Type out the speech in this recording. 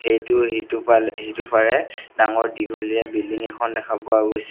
ইটোৰ সিটোফাল সিটোফাৰে ডাঙৰ দীঘলীয়া বিল্ডিং এখন দেখা পোৱা গৈছে।